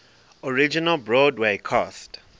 original broadway cast